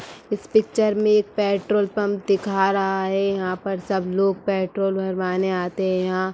इस पिक्चर में एक पेट्रोल पंप दिखा रहा है यहाँ पर सब लोग पेट्रोल भरवाने आते हैं यहाँ --